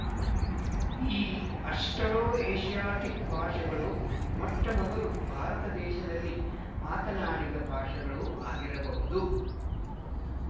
ಈ ಅಸ್ಟ್‌ರೊಏಶಿಯಾಟಿಕ್ ಭಾಷೆಗಳು ಮೊಟ್ಟಮೊದಲು ಭಾರತ ದೇಶದಲ್ಲಿ ಮಾತನಾಡಿದ ಭಾಷೆಗಳು ಆಗಿರಬಹುದು